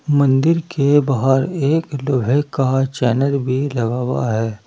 मंदिर के बाहर एक लोहे का चैनल भी लगा हुआ है।